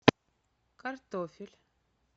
картофель